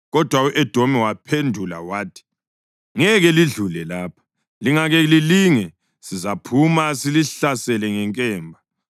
Kodwa u-Edomi waphendula wathi: “Ngeke lidlule lapha, lingake lilinge, sizaphuma silihlasele ngenkemba.”